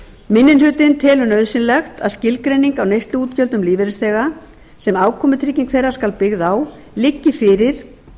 minni hlutinn telur nauðsynlegt að skilgreining á neysluútgjöldum lífeyrisþega sem afkomutrygging þeirra skal byggð á liggi fyrir